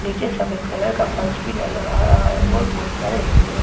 निचे सफेद कलर का फर्श बी नजर आ रहा हैं और बहुत सारे हेंगरों पर कपडे़ --